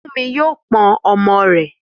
Fúnmi yóò pọn ọmọ rẹ̀.